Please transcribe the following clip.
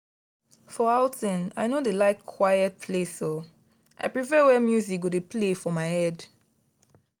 for outting i no dey like quiet place um i prefer where music go dey play for my head.